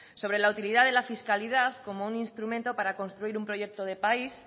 sobre la utilidad de la fiscalidad como un instrumento para construir un proyecto de país